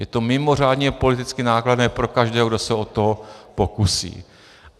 Je to mimořádně politicky nákladné pro každého, kdo se o to pokusí.